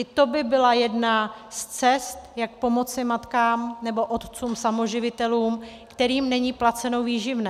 I to by byla jedna z cest, jak pomoci matkám nebo otcům samoživitelům, kterým není placeno výživné.